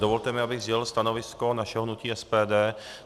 Dovolte mi, abych sdělil stanovisko našeho hnutí SPD.